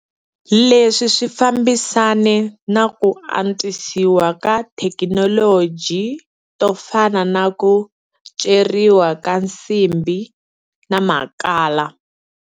Leswi swi fambisane na ku antswisiwa ka tithekinoloji to fana na ku ceriwa ka nsimbhi na makhala.